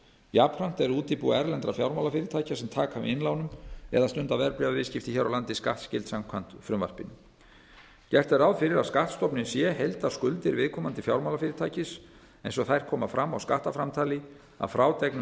jafnframt eru útibú erlendra fjármálafyrirtækja sem taka við innlánum eða stunda verðbréfaviðskipti hér á landi skattskyld samkvæmt frumvarpinu gert er ráð fyrir að skattstofninn sé heildarskuldir viðkomandi fjármálafyrirtækis eins og þær koma fram á skattframtali að frádregnum